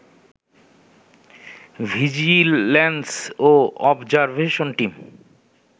vigilance ও observation team